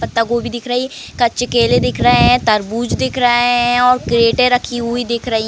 पत्ता गोबी दिख रही है। कच्चे केले दिख रहे हैं। तरबुज दिख रहा हैं और क्रेटे रखी हुई दिख रही --